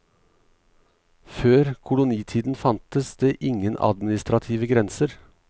Før kolonitiden fantes det ingen administrative grenser.